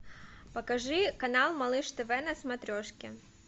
покажи канал малыш тв на смотрешке